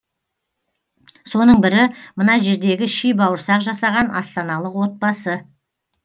соның бірі мына жердегі ши бауырсақ жасаған астаналық отбасы